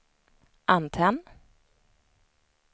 antenn